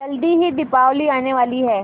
जल्दी ही दीपावली आने वाली है